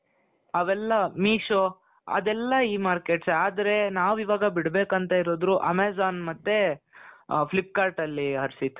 ಅವೆಲ್ಲ Meesho ಅದೆಲ್ಲಾ E-markets ಎ ಆದ್ರೆ ನಾವೀವಾಗ ಬಿಡ್ಬೇಕು ಅಂತ ಇರೋದು Amazon ಮತ್ತೆ Flip cart ಅಲ್ಲಿ ಹರ್ಷಿತ್ .